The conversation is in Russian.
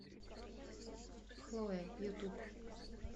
хлоя ютуб